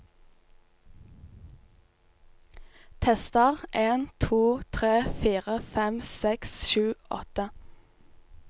Tester en to tre fire fem seks sju åtte